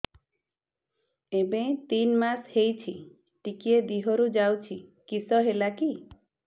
ଏବେ ତିନ୍ ମାସ ହେଇଛି ଟିକିଏ ଦିହରୁ ଯାଉଛି କିଶ ହେଲାକି